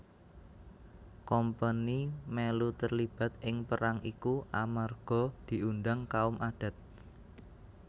Kompeni melu terlibat ing perang iku amarga diundang kaum adat